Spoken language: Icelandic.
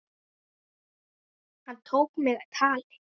Hann tók mig tali.